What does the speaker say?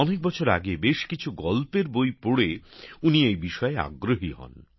অনেক বছর আগে বেশ কিছু গল্পের বই পড়ে উনি এই বিষয়ে আগ্রহী হন